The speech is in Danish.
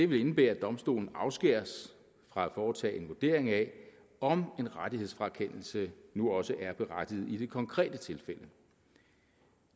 vil indebære at domstolene afskæres fra at foretage en vurdering af om en rettighedsfrakendelse nu også er berettiget i det konkrete tilfælde